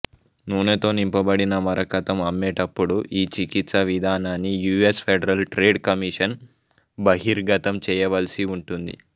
నూనెతో నింపబడిన మరకతం అమ్మేటప్పుడు ఈ చికిత్సా విధానాన్ని U S federal trade commission బహిర్గతం చేయవలసి ఉంటుంది